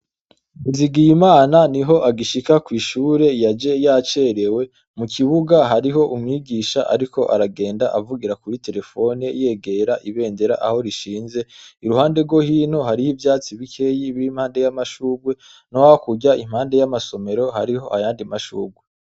NIZIGIYIMANA niho agishika kw'ishure, yaje yacerewe. Mu kibuga hariho umwigisha ariko aragenda avugira kuri terefone yegera ibendera aho rishinze. Iruhande rwo hino hariho ivyatsi bikeyi biri impande y'amashurwe, no hakurya impande y'amasomero hariho ayandi mashurwe.